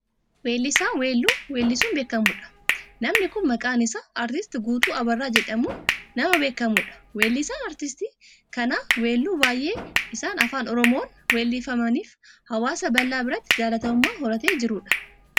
Weellisaa weelluu weellisuun beekkamudha. Namni kun maqaan isaa artisti Guutuu Abarraa jedhamuun nama beekkamudha. Welluun artistii kanaa weelluu baayyeen isaan afaan oromoon weellifamaniifi hawaasa bal'aa biratti jaalatamummaa horatee jiru dha.